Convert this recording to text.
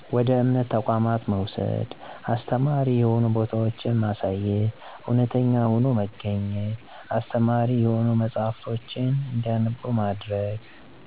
ወደ እምነት ተቋማት መውሰድ፣ አስተማሪ የሆኑ ቦታወችማሳየት፣ እውነተኛ ሆኖ መገኝት፣ አስተማሪ የሆኑ መጸሐፍቶችን እንዲያነቡ ማድረግ።